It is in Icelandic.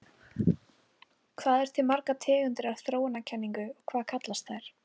Hvað eru til margar tegundir af þróunarkenningunni og hvað kallast þær?